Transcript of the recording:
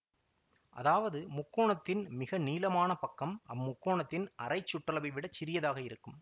அதாவது முக்கோணத்தின் மிக நீளமான பக்கம் அம் முக்கோணத்தின் அரை சுற்றளவைவிடச் சிறியதாக இருக்கும்